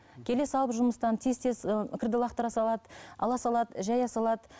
келе салып жұмыстан тез тез ы кірді лақтыра салады ала салады жая салады